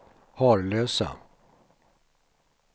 Harlösa